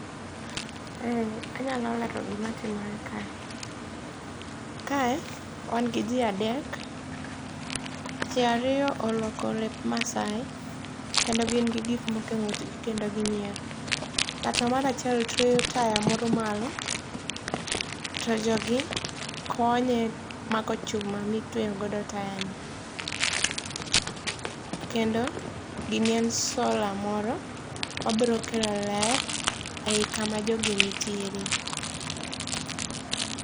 E anyalo lero gima timore kae. Kae wan gi ji adek. Ji ariyo orwako lep maasai kendo gi gin gik moko e ng'utgi kendo ginyiero. Ng'at moro achiel tweyo taya moro malo to jogi konye mako chuma mitweyo godo taya ni. Kendo gini en sola moro mabiro kelo ler iyi kama jogi nitiere.